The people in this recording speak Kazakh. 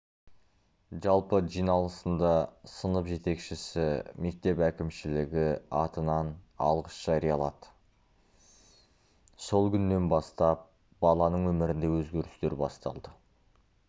жалпы жиналысында сынып жетекшісі мектеп әкімшілігі атынан алғыс жариялады сол күннен бастап баланың өмірінде өзгерістер басталды